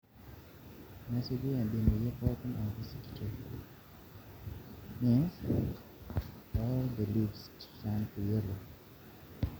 Nesuju embeneyio pookin aaku sikitoi